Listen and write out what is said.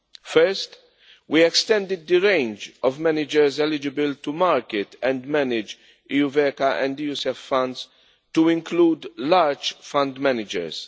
First, we extended the range of managers eligible to market and manage EuVECA and EuSEF funds to include large fund managers.